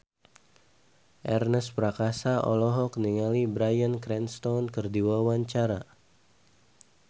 Ernest Prakasa olohok ningali Bryan Cranston keur diwawancara